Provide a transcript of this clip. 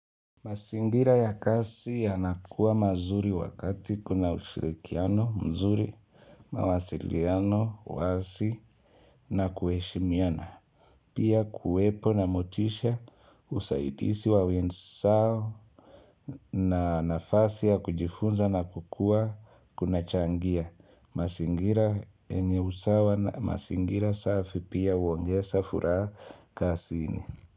Mazingira ya kazi ya nakuwa mazuri wakati kuna ushirikiano, mzuri, mawasiliano, wasi na kueshimiana. Pia kuwepo na motisha, usaidizi wa wenzao na nafasi ya kujifunza na kukua kunachangia mazingira yenye usawa, mazingara safi pia huongeza furaha kazini.